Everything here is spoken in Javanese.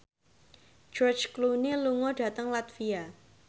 George Clooney lunga dhateng latvia